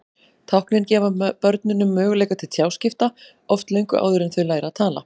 Táknin gefa börnunum möguleika til tjáskipta, oft löngu áður en þau læra að tala.